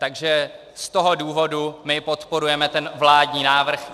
Takže z toho důvodu my podporujeme ten vládní návrh.